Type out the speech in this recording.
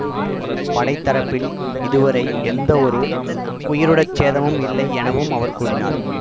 படைத்தரப்பில் இதுவரை எந்தவொரு உயிருடற்சேதமும் இல்லை எனவும் அவர் கூறினார்